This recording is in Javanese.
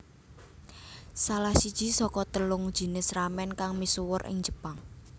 Salah siji saka telung jinis ramen kang misuwur ing Jepang